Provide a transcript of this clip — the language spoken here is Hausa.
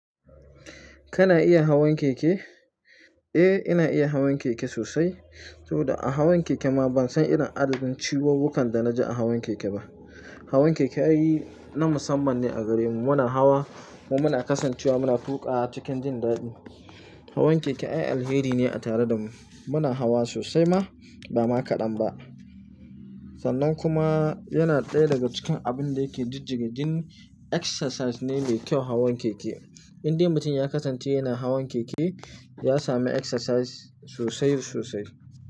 Kana iya hawan keke? Eh, ina iya hawan keke sosai. To, da a hawan keke ma ban san irin adadin ciwuwwukan da na ji a hawan keke ba. Hawan keke ai na musamman ne a gare mu. Muna hawa kuma muna kasancewa muna tuƙawa cikin jin daɗi. Hawan keke ai alheri ne a tare da mu. Muna hawa sosai ma ba ma kaɗan ba. Sannan kuma yana ɗaya daga cikin abun da yake jijjiga jini exercise ne mai kyau hawan keke. Inde mutum ya kasance yana hawan keke, ya sami exercise sosai sosai.